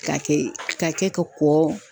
Ka kɛ ka kɛ ka kɔ